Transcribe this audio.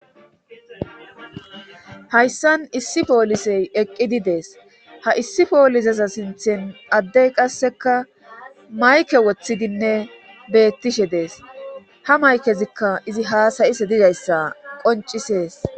Hayssan issi poolisey eqqidi dees ha issi poolizeza sinthen addey qasseka mayke woththidinne beettishe dees ha maykezikka izi haasayise dizayssa qoncisees.